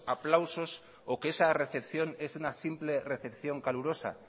aplausos o que esa recepción es una simple recepción calurosa